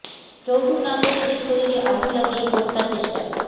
যৌতুক না পেয়ে স্ত্রীর শরীরে আগুন লাগিয়ে হত্যা চেষ্টা